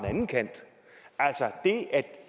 anden kant altså at